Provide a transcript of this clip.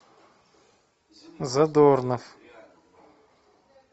задорнов